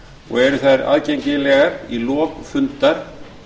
og eru þær aðgengilegar í lok fundar